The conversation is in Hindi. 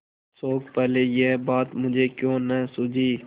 शोक पहले यह बात मुझे क्यों न सूझी